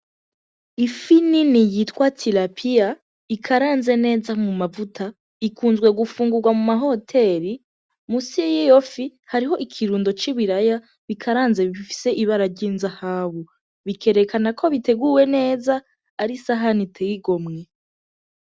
Ifi nini yitwa tirapiya ikaranze neza mum'amavuta ikunzwe gufungurwa muma hoteri, munsi y'iyo fi hariho ikirundo c'ibiraya bikaranze bifise ibara vy'inzahabu, bikerekana ko biteguwe neza ari isahani iteye igomwe.